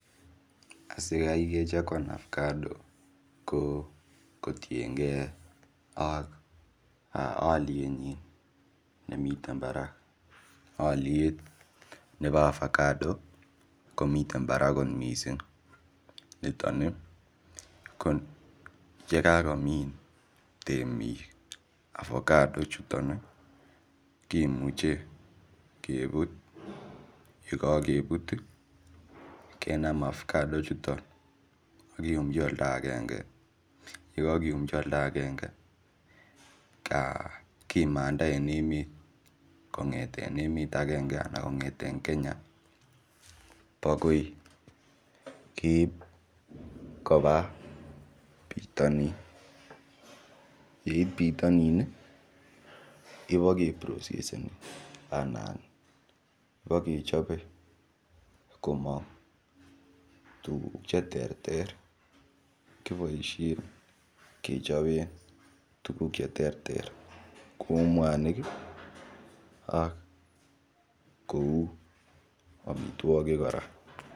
Asikae kechakuan apagado ko kotiengei ak oliet nyi nemiten barak oliet nebo apagado komiten barak kot mising niton koyekakomin temik apagado chuton kimuche keput yekakeput kenam apagado chuton ako umchi oldo akenge yakake umchi oldo akenge kimanda en emet kongeten emet akenge anan kongeten Kenya akoi keip kopa bitonin yeit bitonin ibokeproseseni anan bokechope komong tukuk che ter ter kiboishe kechopen tukuk che ter ter kou mwanik ak kou omitwokik kora.